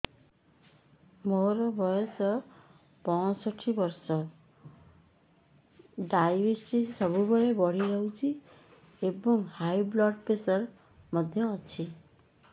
ମୋର ବୟସ ପଞ୍ଚଷଠି ବର୍ଷ ଡାଏବେଟିସ ସବୁବେଳେ ବଢି ରହୁଛି ଏବଂ ହାଇ ବ୍ଲଡ଼ ପ୍ରେସର ମଧ୍ୟ ଅଛି